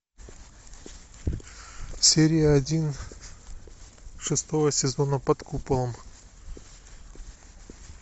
серия один шестого сезона под куполом